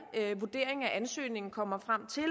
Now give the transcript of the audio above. vurdering af ansøgningen kommer frem til at